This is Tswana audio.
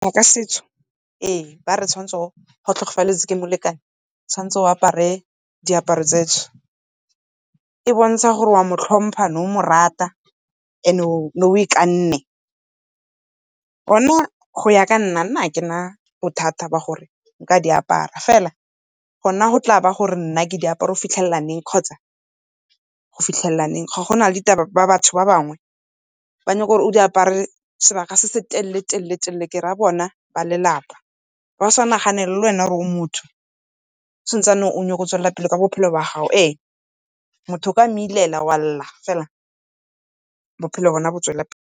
Ka setso ee, ba re tshwanetse ga o tlhokafaletswe ke molekane o tshwanetse o apare diaparo tse . E bontsha gore o a mo tlhompha, o ne o mo rata and o ne o ikanne. Go ya ka nna, nna akena bothata ba gore nka di apara, fela gona go tla ba gore nna ke di apara go fitlhelela neng kgotsa go fitlhelela neng. go na le batho ba bangwe ba nyaka o di apare sebaka se se telele-telele-telele, ke ra bona ba lelapa, ba sa nagane gore le wena o motho o sa ntse o nyaka go tswelela ka bophelo ba gago. Ee, motho o ka mo ilela wa lela fela bophelo bona bo tswelela pele.